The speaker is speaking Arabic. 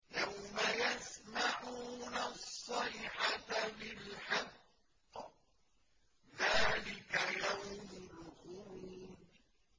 يَوْمَ يَسْمَعُونَ الصَّيْحَةَ بِالْحَقِّ ۚ ذَٰلِكَ يَوْمُ الْخُرُوجِ